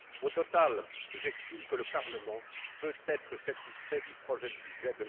Au total, j'estime que le Parlement peut être satisfait du projet de budget